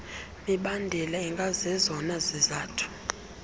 mibandela ingazezona zizathu